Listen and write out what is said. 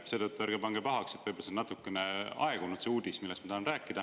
Seetõttu ärge pange pahaks, kui see uudis, millest ma tahan rääkida, võib olla natukene aegunud.